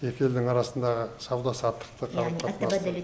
екі елдің арасындағы сауда саттықты қарым қатынасты